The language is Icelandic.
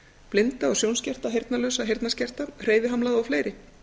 blinda og sjónskerta heyrnarlausa heyrnarskerta hreyfihamlaða og fleiri